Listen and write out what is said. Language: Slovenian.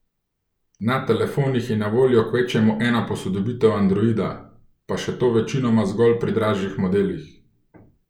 Na telefonih je na voljo kvečjemu ena posodobitev androida, pa še to večinoma zgolj pri dražjih modelih.